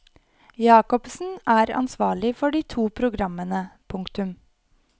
Jacobsen er ansvarlig for de to programmene. punktum